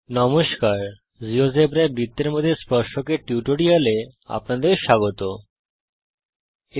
নমস্কার জীয়োজেব্রায় বৃত্তের মধ্যে স্পর্শক এর উপর এই টিউটোরিয়াল এ আপনাদের স্বাগত জানাই